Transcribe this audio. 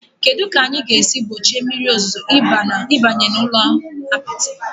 Kedu ka anyị ga-esi gbochie mmiri ozuzo ịbanye n'ụlọ apịtị?